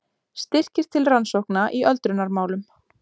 Styrkir til rannsókna í öldrunarmálum